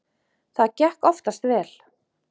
Það gekk oftast vel.